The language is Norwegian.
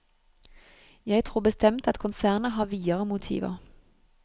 Jeg tror bestemt at konsernet har videre motiver.